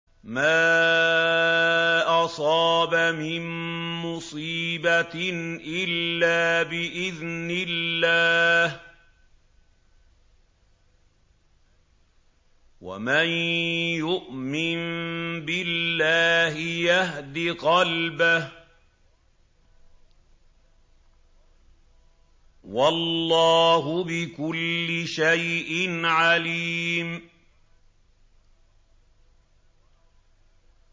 مَا أَصَابَ مِن مُّصِيبَةٍ إِلَّا بِإِذْنِ اللَّهِ ۗ وَمَن يُؤْمِن بِاللَّهِ يَهْدِ قَلْبَهُ ۚ وَاللَّهُ بِكُلِّ شَيْءٍ عَلِيمٌ